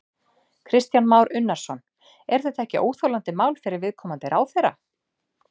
Kristján Már Unnarsson: Er þetta ekki óþolandi mál fyrir viðkomandi ráðherra?